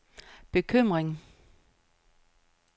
bekymring